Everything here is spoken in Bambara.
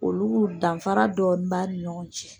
Olu danfara dɔɔnin ɲɔgɔn cɛ.